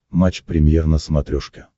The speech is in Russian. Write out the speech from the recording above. матч премьер на смотрешке